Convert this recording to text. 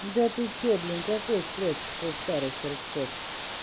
да ты что блин какой спрос со старых торчков